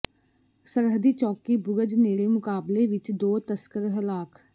ਸਰਹੱਦੀ ਚੌਕੀ ਬੁਰਜ ਨੇੜੇ ਮੁਕਾਬਲੇ ਵਿੱਚ ਦੋ ਤਸਕਰ ਹਲਾਕ